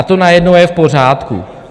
A to najednou je v pořádku.